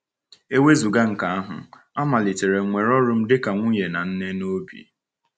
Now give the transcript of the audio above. E wezụga nke ahụ, amalitere m were ọrụ m dị ka nwunye na nne n’obi.